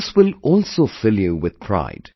And this will also fill you with pride